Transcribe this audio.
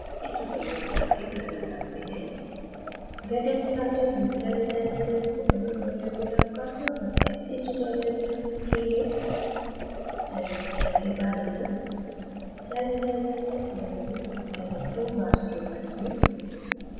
इस tutorial पर एक नज़र डालते हैं